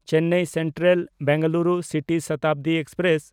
Chennai Central-Bengaluru city Shatabdi express